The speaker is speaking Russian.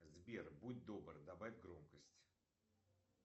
сбер будь добр добавь громкость